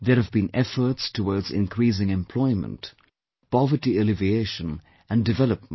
There have been efforts towards increasing employment, poverty alleviation, and development